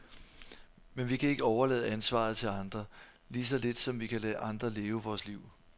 Men vi kan ikke overlade ansvaret til andre, lige så lidt som vi kan lade andre leve vort liv.